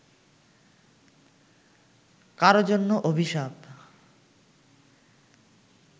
কারো জন্যে অভিশাপ